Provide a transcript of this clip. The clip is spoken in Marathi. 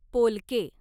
पोलके